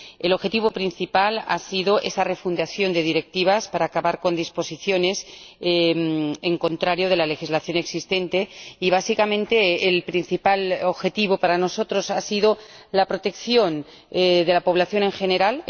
El objetivo principal ha sido esa refundición para acabar con disposiciones contrarias a la legislación existente y, básicamente, el principal objetivo para nosotros ha sido la protección de la población en general